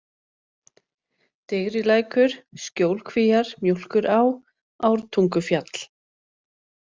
Digrilækur, Skjólkvíar, Mjólkurá, Ártungufjall